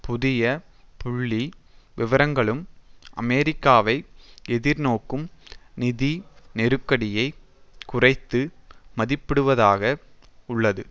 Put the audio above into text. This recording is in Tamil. புதிய புள்ளி விவரங்களும் அமெரிக்காவை எதிர்நோக்கும் நிதி நெருக்கடியை குறைத்து மதிப்பிடுவதாக உள்ளது